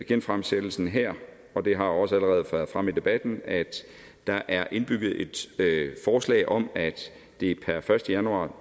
genfremsættelsen her og det har også allerede været fremme i debatten at der er indbygget et forslag om at det per første januar